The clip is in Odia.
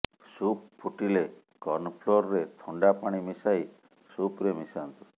ସୁପ୍ ଫୁଟିଲେ କର୍ଣ୍ଣଫ୍ଲୋରରେ ଥଣ୍ଡା ପାଣି ମିଶାଇ ସୁପ୍ରେ ମିଶାନ୍ତୁ